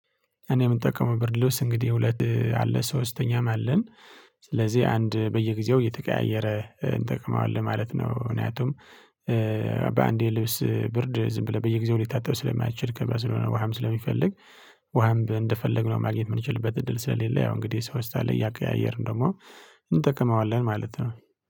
እኔ የምጠቀመው ብርሎስ እንግዲህ ሁለት አለ ሶስተኛም አለን ስለዚህ አንድ በየጊዜው እየተቀያየረ እንጠቅመዋለን ማለት ነው። ምክንያቱም በአንዴ ልብስ ብርድ ዝም ብለህ በየጊዜው ሊታጠብ ስለማይችል ከበዛ ስለሆነ ውሃም ስለሚፈልግ ውሃም እንደፈለግነው ማግኘት የምንችልበት እድል ስለሌለ ያው እንግዲህ ሰው ውስጥ አለ እያቀያየርን ደግሞ እንጠቅመዋለን ማለት ነው